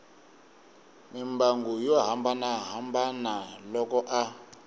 mimbangu yo hambanahambana loko a